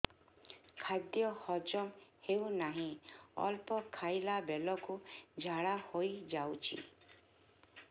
ଖାଦ୍ୟ ହଜମ ହେଉ ନାହିଁ ଅଳ୍ପ ଖାଇଲା ବେଳକୁ ଝାଡ଼ା ହୋଇଯାଉଛି